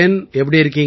எப்படி இருக்கீங்க